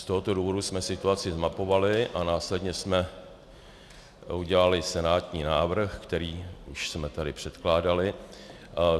Z tohoto důvodu jsme situaci zmapovali a následně jsme udělali senátní návrh, který už jsme tady předkládali.